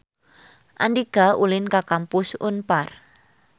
Andika ulin ka Kampus Unpar